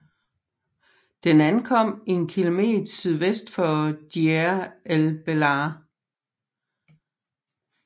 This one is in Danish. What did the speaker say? Den ankom en km sydvest for Deir el Belah